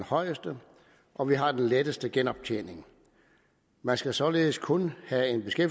højeste og vi har den letteste genoptjening man skal således kun